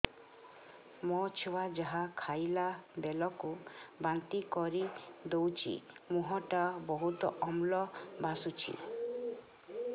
ମୋ ଛୁଆ ଯାହା ଖାଇଲା ବେଳକୁ ବାନ୍ତି କରିଦଉଛି ମୁହଁ ଟା ବହୁତ ଅମ୍ଳ ବାସୁଛି